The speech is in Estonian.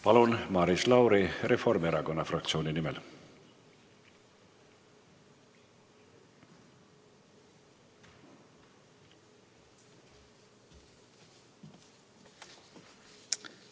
Palun, Maris Lauri Reformierakonna fraktsiooni nimel!